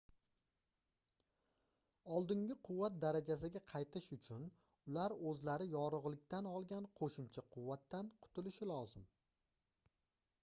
oldingi quvvat darajasiga qaytish uchun ular oʻzlari yorugʻlikdan olgan qoʻshimcha quvvatdan qutulishi lozim